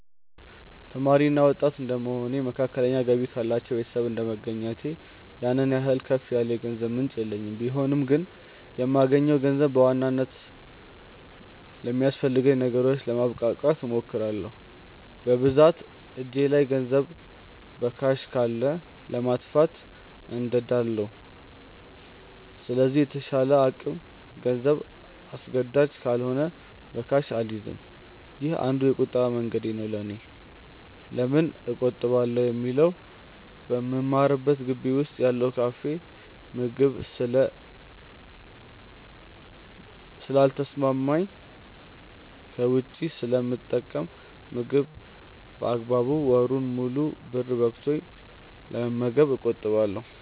ተማሪ እና ወጣት እድንደመሆኔ እና መካከለኛ ገቢ ካላቸው ቤተሰብ እንደመገኘቴ ያን ያህል ከፍ ያለ የገንዘብ ምንጭ የለኝም ቢሆንም ግን የማገኘውን ገንዘብ በዋናነት ለሚያስፈልጉኝ ነገሮች ለማብቃቃት እሞክራለው። በብዛት እጄ ላይ ገንዘብ በካሽ ካለ ለማጥፋት እንደዳለው ስለዚህ በተቻለ አቅም ገንዘብ አስገዳጅ ካልሆነ በካሽ አልይዝም። ይህ አንዱ የቁጠባ መንገዴ ነው ለኔ። ለምን እቆጥባለው ለሚለው በምማርበት ግቢ ውስጥ ያለው የካፌ ምግብ ስለ ልተሰማማኝ ከውጪ ስለምጠቀም ምግብ በአግባቡ ወሩን ሙሉ ብር በቅቶኝ ለመመገብ እቆጥባለው።